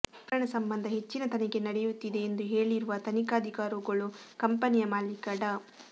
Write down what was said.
ಪ್ರಕರಣ ಸಂಬಂಧ ಹೆಚ್ಚಿನ ತನಿಖೆ ನಡೆಯುತ್ತಿದೆ ಎಂದು ಹೇಳಿರುವ ತನಿಖಾಧಿಕಾರೊಗಳು ಕಂಪನಿಯ ಮಾಲೀಕ ಡಾ